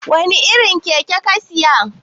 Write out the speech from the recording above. wane irin Keke ka Siya?